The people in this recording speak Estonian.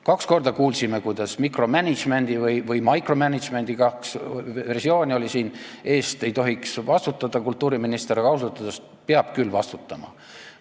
Kaks korda kuulsime, kuidas mikromänedžmendi või micromanagement'i – kaks versiooni oli siin – eest ei tohiks vastutada kultuuriminister, aga ausalt öeldes peab küll vastutama.